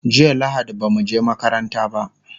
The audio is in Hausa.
jiya lahadi bamu je makaranta ba